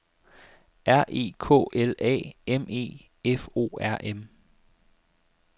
R E K L A M E F O R M